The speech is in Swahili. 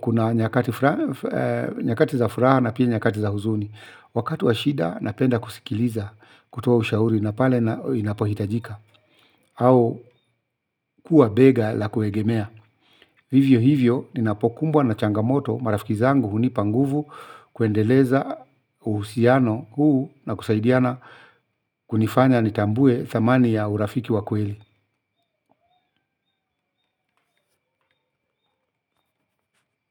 Kuna nyakati za furaha na pia nyakati za huzuni. Wakatu wa shida napenda kusikiliza kutoa ushauri na pale inapohitajika au kuwa bega la kuegemea. Hivyo hivyo ninapokumbwa na changamoto marafiki zangu hunipa nguvu kuendeleza uhusiano huu na kusaidiana kunifanya nitambue thamani ya urafiki wa kweli.